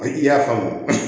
I y'a faamu